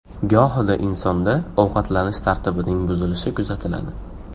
Gohida insonda ovqatlanish tartibining buzilishi kuzatiladi.